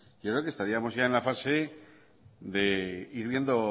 yo creo que estaríamos ya en la fase de ir viendo